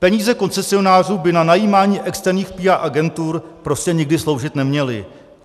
Peníze koncesionářů by na najímání externích PR agentur prostě nikdy sloužit neměly.